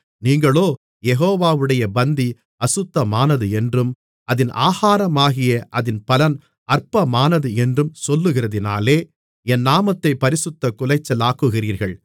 நீங்களோ யெகோவாவுடைய பந்தி அசுத்தமானது என்றும் அதின் ஆகாரமாகிய அதின் பலன் அற்பமானது என்றும் சொல்லுகிறதினாலே என் நாமத்தைப் பரிசுத்தக் குலைச்சலாக்குகிறீர்கள்